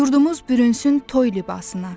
Yurdumuz bürünsün toy libasına.